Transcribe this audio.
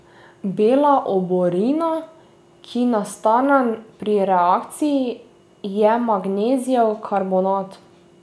Bela oborina, ki nastane pri reakciji, je magnezijev karbonat.